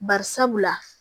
Bari sabula